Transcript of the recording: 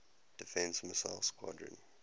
defense missile squadron